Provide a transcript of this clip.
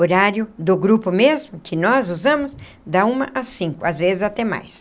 Horário do grupo mesmo, que nós usamos, da uma às cinco, às vezes até mais.